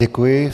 Děkuji.